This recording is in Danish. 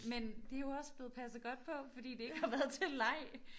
Men det jo også blevet passet godt på fordi det ikke har været til leg